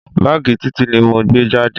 Báàgì Títí ni mo gbé jáde.